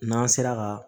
N'an sera ka